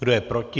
Kdo je proti?